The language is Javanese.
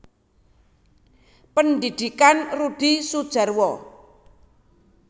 Pendhidhikan Rudi Sudjarwo